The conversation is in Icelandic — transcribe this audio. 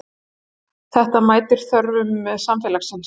Þetta mætir þörfum samfélagsins